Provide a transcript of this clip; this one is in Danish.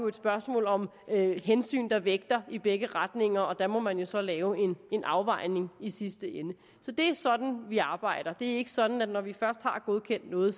et spørgsmål om hensyn der vægter i begge retninger og der må man jo så lave en afvejning i sidste ende så det er sådan vi arbejder det er ikke sådan at det når vi først har godkendt noget